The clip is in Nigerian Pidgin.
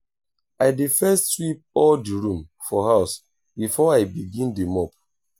i dey first sweep all di room for house before i begin dey mop.